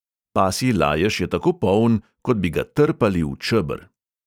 Pasji lajež je tako poln, kot bi ga trpali v čeber.